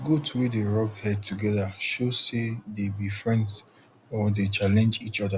goat wey dey rub head togethershow say dey be friends or dey challenge each oda